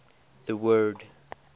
the word